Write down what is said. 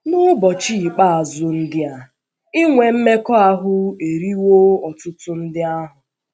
N’ụbọchị ikpeazụ ndị a, inwe mmekọahụ eriwo ọtụtụ ndị ahụ́.